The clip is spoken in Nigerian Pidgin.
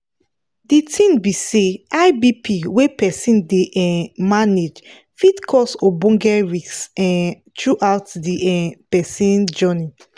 the tin be say high bp wey persin dey um manage fit cause ogboge risk um throughout the um persin journey